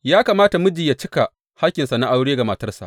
Ya kamata miji yă cika hakkinsa na aure ga matarsa.